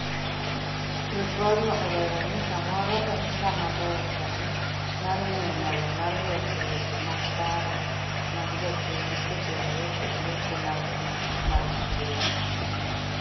ripodno olero ni samoro en saa maber sani mar ng'iyo nyalo mar loso weche mag paro mag jopiny kotenore kod weche mag'gi mag ochumi